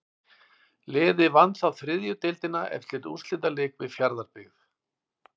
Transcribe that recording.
Liðið vann þá þriðju deildina eftir úrslitaleik við Fjarðabyggð.